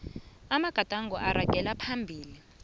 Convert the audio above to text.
amagadango aragela phambili